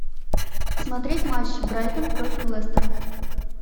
смотреть матч брайтон против лестера